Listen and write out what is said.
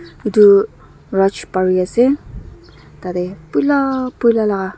etu bruch pari ase tat teh poila poila laga--